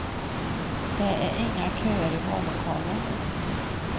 Det är inga köer i vallokalen.